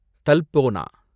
தல்போனா